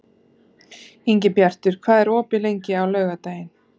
Ingibjartur, hvað er opið lengi á laugardaginn?